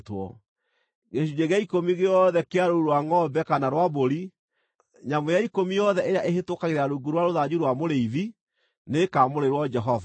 Gĩcunjĩ gĩa ikũmi gĩothe kĩa rũũru rwa ngʼombe kana rwa mbũri, nyamũ ya ikũmi yothe ĩrĩa ĩhĩtũkagĩra rungu rwa rũthanju rwa mũrĩithi nĩĩkamũrĩrwo Jehova.